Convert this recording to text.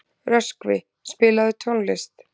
Röskvi, spilaðu tónlist.